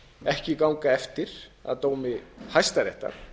ekki ganga eftir að dómi hæstaréttar